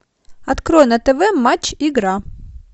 открой на тв матч игра